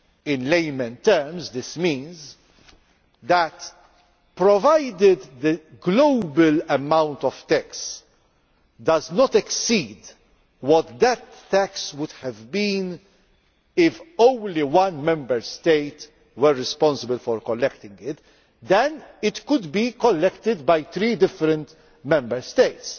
In layman's terms this means that, provided the global amount of tax does not exceed what death tax would have been if only one Member State were responsible for collecting it, it could be collected by three different Member States.